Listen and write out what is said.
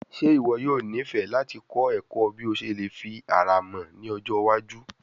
Ṣe iwọ yoo nifẹ lati kọ ẹkọ bi o ṣe le fi ara mọ ni ọjọ iwaju?